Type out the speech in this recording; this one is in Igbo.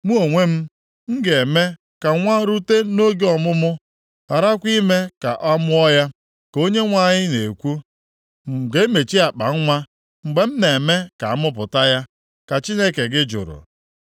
Mụ onwe m, m ga-eme ka nwa rute nʼoge ọmụmụ gharakwa ime ka a mụọ ya?” ka Onyenwe anyị na-ekwu. “M ga-emechi akpanwa mgbe m na-eme ka a mụpụta ya?” ka Chineke gị jụrụ.